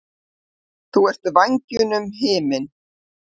Þú ert vængjunum himinn.